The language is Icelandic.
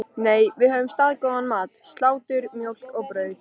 Nei, við höfðum staðgóðan mat: Slátur, mjólk og brauð.